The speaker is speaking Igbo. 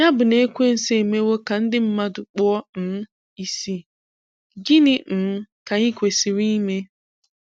Ya bụ na Ekwensu emewo ka ndị mmadụ kpuo um isi, gịnị um ka anyị kwesịrị ime?